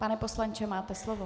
Pane poslanče, máte slovo.